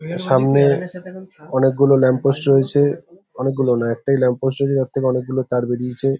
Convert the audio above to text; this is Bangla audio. সামনে-এ অনেকগুলো ল্যাম্প পোস্ট রয়েছে অনেকগুলো না একটাই ল্যাম্প পোস্ট রয়েছে তার থেকে অনেকগুলো তার বেরিয়েছে।